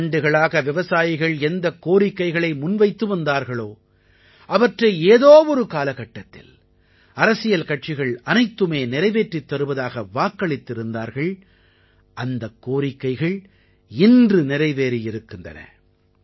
பல ஆண்டுகளாக விவசாயிகள் எந்தக் கோரிக்கைகளை முன்வைத்து வந்தார்களோ அவற்றை ஏதோ ஒரு காலகட்டத்தில் அரசியல் கட்சிகள் அனைத்துமே நிறைவேற்றித் தருவதாக வாக்களித்திருந்தார்கள் அந்தக் கோரிக்கைகள் இன்று நிறைவேறியிருக்கின்றன